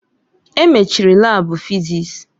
Emechiri laabu fịzịs.